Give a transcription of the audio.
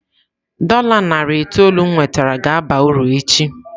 Dola narị itoolu m nwetara ga-aba uru echi.